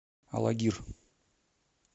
алагир